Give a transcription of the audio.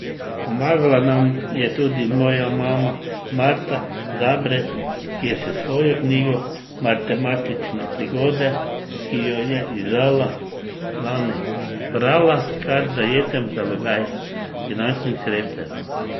Pomagala nam je tudi moja mama Marta Zabret, ki je s svojo knjigo Martematične prigode, ki jo je izdala lani, zbrala kar zajeten zalogaj finančnih sredstev ...